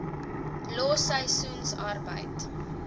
los seisoensarbeid